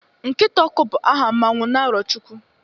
nkita ọkụ, bu aha mmanwu n' arochukwu